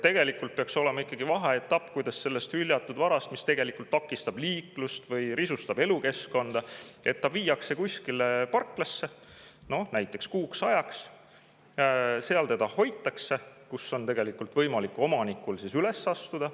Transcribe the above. Tegelikult peaks olema ikkagi vaheetapp, et see hüljatud vara, mis takistab liiklust või risustab elukeskkonda, viiakse kuskile parklasse näiteks kuuks ajaks, seal seda hoitakse ja siis on tegelikult võimalik omanikul üles astuda.